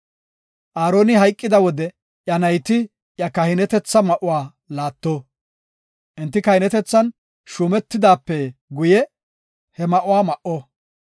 “Aaroni hayqida wode iya nayti iya kahinetetha ma7uwa laatto. Enti kahinetethan shuumetidaape guye he ma7uwa ma7o.